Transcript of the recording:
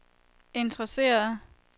interesserede